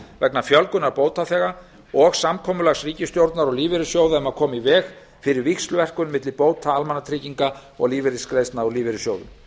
vegna fjölgunar bótaþega og samkomulags ríkisstjórnar og lífeyrissjóða um að koma í veg fyrir víxlverkun milli bóta almannatrygginga og lífeyrisgreiðslna úr lífeyrissjóðum